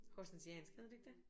Horsensiansk hedder det ikke det